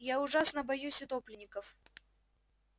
я ужасно боюсь утопленников